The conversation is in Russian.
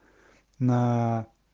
на